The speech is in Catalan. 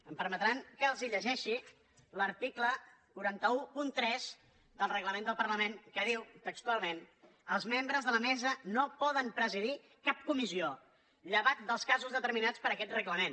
em permetran que els llegeixi l’article quatre cents i tretze del regla·ment del parlament que diu textualment els mem·bres de la mesa no poden presidir cap comissió lle·vat dels casos determinats per aquest reglament